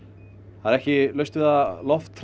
það er ekki laust við að